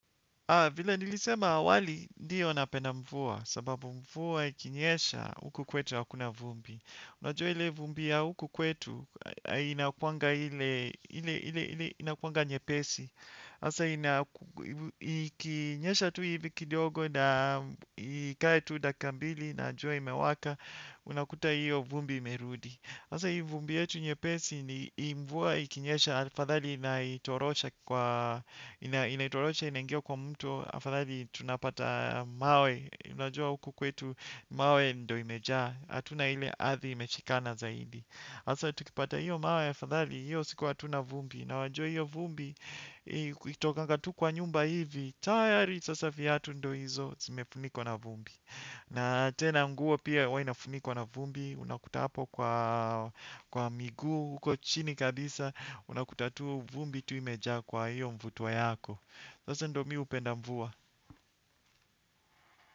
Vila nilisema awali ndiyo napenda mvua sababu mvuwa ikinyesha huku kwetu hakuna vumbi. Unajua ile vumbi ya huku kwetu inakuanga nyepesi. Hasa ikinyesha tu hivi kidogo na ikae tu dakika mbili na jua imewaka unakuta hiyo vumbi imerudi. Hasa hii vumbi yetu nyepesi ni mvua ikinyesha, afadhali inaitorosha inaingia kwa mtu, afadhali tunapata mawe, unajua huku kwetu mawe ndo imejaa, hatuna ile ardhi imeshikana zaidi. Hasa tukipata hiyo mawe, afadhali hiyo siku wa hatuna vumbi, na wajua hiyo vumbi ukitokanga tu kwa nyumba hivi, tayari sasa viatu ndio hizo zimefunikwa na vumbi. Na tena nguo pia huwa inafunikwa na vumbi, unakuta hapo kwa miguu, huko chini kabisa, unakuta tu vumbi tu imejaa kwa hiyo mvuto yako. Sasa ndo mi hupenda mvua.